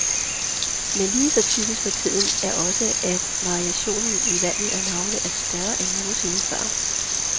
Men lige så typisk for tiden er også, at variationen i valget af navne er større end nogen sinde før.